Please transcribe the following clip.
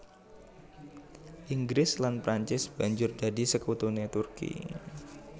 Inggris lan Prancis banjur dadi sekutuné Turki